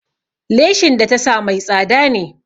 Leshin da ta sa mai tsada ne.